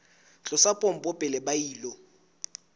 tlosa pompo pele ba ilo